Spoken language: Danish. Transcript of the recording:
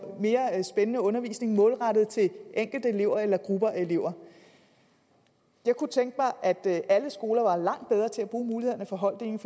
mere spændende undervisning målrettet til enkelte elever eller grupper af elever jeg kunne tænke mig at alle skoler var langt bedre til at bruge mulighederne for holddeling